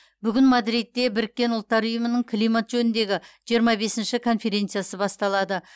бүгін мадридте біріккен ұлттар ұйымының климат жөніндегі жиырма бесінші конференциясы басталады